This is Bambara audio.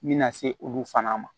Min na se olu fana ma